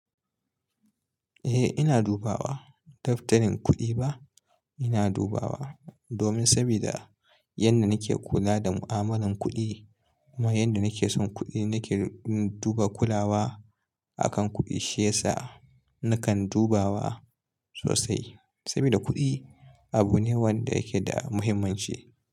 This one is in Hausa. Eh ina dubawa. Daftarin kuɗi ba ina dubawa domin sabida yanda nake kula da mu'amalar kuɗi kuma yanda nake son kuɗi nake duba kulawa akan kuɗi shiyasa nakan dubawa sosai sabida kuɗi abu ne wanda yake da muhimmanci.